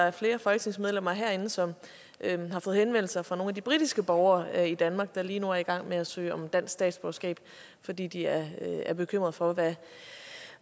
er flere folketingsmedlemmer herinde som har fået henvendelser fra nogle af de britiske borgere i danmark der lige nu er i gang med at søge om dansk statsborgerskab fordi de er er bekymret for